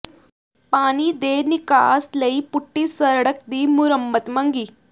ਪਾਣੀ ਦੇ ਨਿਕਾਸ ਲਈ ਪੁੱਟੀ ਸੜਕ ਦੀ ਮੁਰੰਮਤ ਮੰਗੀ